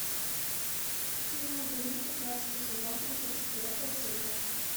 фильм гримм пятнадцатый сезон тридцать четвертая серия